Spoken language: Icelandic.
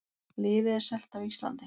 Lyfið er selt á Íslandi